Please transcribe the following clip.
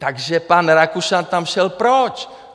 Takže pan Rakušan tam šel proč?